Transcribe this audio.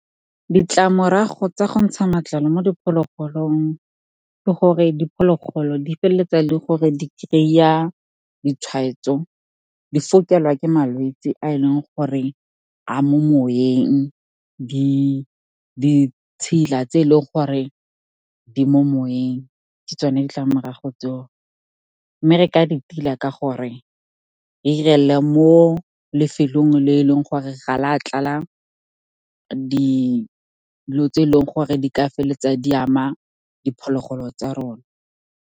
Ditlamorago tsa go ntsha matlalo mo diphologolong ke gore diphologolo di feleletsa e leng gore di kry-a ditshwaetso, di fokelwa ke malwetsi a e leng gore a mo moweng. Ditshila tse e leng gore di mo moweng, ke tsone ditlamorago tseo. Mme re ka di tila ka gore re 'irele mo lefelong le e leng gore ga la tlala dilo tse e leng gore di ka feleletsang di ama diphologolo tsa rona.